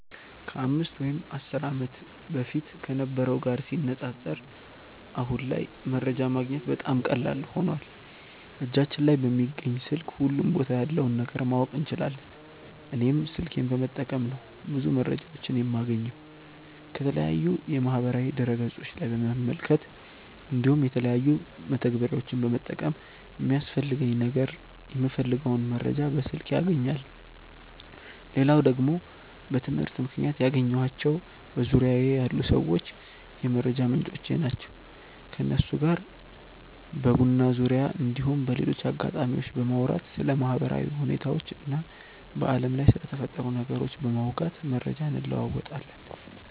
ከ 5 ወይም 10 ዓመት በፊት ከነበረው ጋር ሲነጻጸር አሁን ላይ መረጃ ማግኘት በጣም ቀላል ሆኖዋል እጃችን ላይ በሚገኝ ስልክ ሁሉም ቦታ ያለውን ነገር ማወቅ እንችላለን። እኔም ስልኬን በመጠቀም ነው ብዙ መረጃዎችን የማገኘው። ከተለያዩ የማህበራዊ ድረ ገፆች ላይ በመመልከት እንዲሁም የተለያዩ መተግበሪያዎችን በመጠቀም ለሚያስፈልገኝ ነገር የምፈልገውን መረጃ በስልኬ አገኛለው። ሌላው ደግሞ በትምህርት ምክንያት ያገኘኳቸው በዙርያዬ ያሉ ሰዎች የመረጃ ምንጮቼ ናቸው። ከነሱ ጋር በቡና ዙርያ እንዲሁም በሌሎች አጋጣሚዎች በማውራት ስለ ማህበራዊ ሁኔታዎች እና በአለም ላይ ስለተፈጠሩ ነገሮች በማውጋት መረጃ እንለወጣለን።